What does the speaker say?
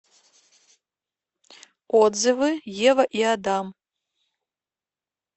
отзывы ева и адам